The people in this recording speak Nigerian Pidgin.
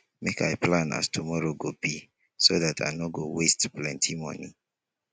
make i plan as tomorrow go be so dat i no go waste plenty moni